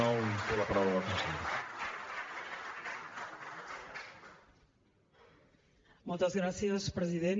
moltes gràcies president